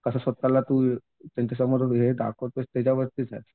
कसं स्वतःला तू त्यांच्यासमोर हे दाखवतोयस हे त्याच्यावरतीच आहे.